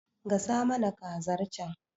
Gasa mana kazar can